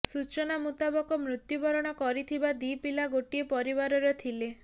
ସୂଚନାମୁତାବକ ମୃତ୍ୟୁବରଣ କରିଥିବା ଦି ପିଲା ଗୋଟିଏ ପରିବାରର ଥିଲେ